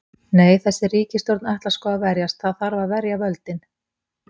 Nei, þessi ríkisstjórn ætlar sko að verjast, það þarf að verja völdin.